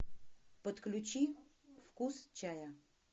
подключи вкус чая